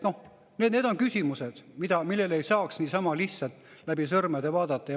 Need on küsimused, millele ei saa niisama lihtsalt läbi sõrmede vaadata.